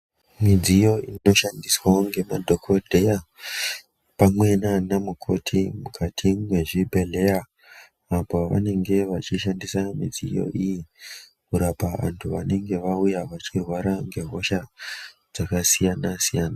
Midziyo inoshandiswawo ngemadhokodheya pamwe nana mukoti mukati mwezvibhedhleya apo vanenge vechishandisa midziyo iyi kurapa vanthu vanenge vauya vachirwara ngehosha dzakasiyana-siyana.